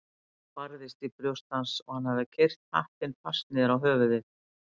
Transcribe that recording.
Hjartað barðist í brjósti hans og hann hafði keyrt hattinn fast niður á höfuðið.